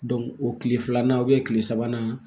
o tile filanan tile sabanan